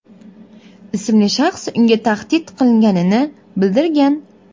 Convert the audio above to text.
ismli shaxs unga tahdid qilganini bildirgan.